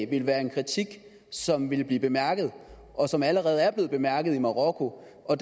ville være en kritik som ville blive bemærket og som allerede er blevet bemærket i marokko og